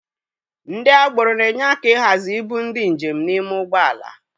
Ndị agboro na-enye aka ịhazi ibu ndị njem n'ime ụgbọ ala.